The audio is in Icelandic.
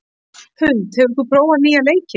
Huld, hefur þú prófað nýja leikinn?